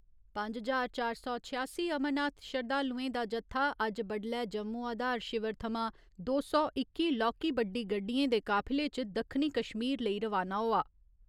पंज ज्हार चार सौ छेआसी अमरनाथ श्रद्धालुएं दा जत्था अज्ज बड्डलै जम्मू आधार शिविर थमां दो सौ इक्की लौह्की बड्डी गड्डियें दे काफिले च दक्खनी कश्मीर लेई रवाना होआ।